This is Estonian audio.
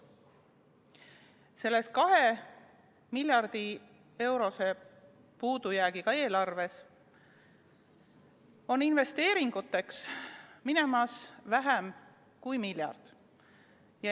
Selles 2 miljardi euro suuruse puudujäägiga eelarves on investeeringuteks minemas vähem kui miljard.